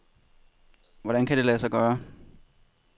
Hvordan kan det lade sig gøre?